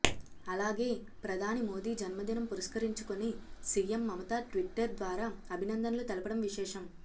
అలాగే ప్రధాని మోదీ జన్మదినం పురస్కరించుకొని సీఎం మమతా ట్విట్టర్ ద్వారా అభినందనలు తెలపడం విశేషం